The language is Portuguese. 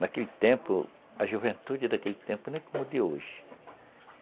Naquele tempo, a juventude daquele tempo não é como a de hoje.